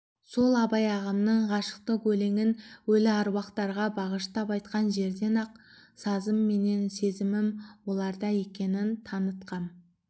сол абай ағамның ғашықтық өлеңін өлі әруақтарға бағыштап айтқан жерде-ақ сазым менен сезімім соларда екенін танытқам